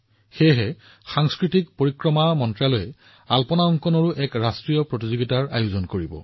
সেয়েহে সংস্কৃতি মন্ত্ৰালয়ে ইয়াৰ সৈতে সম্পৰ্কিত এখন ৰাষ্ট্ৰীয় প্ৰতিযোগিতাও অনুষ্ঠিত কৰিবলৈ গৈ আছে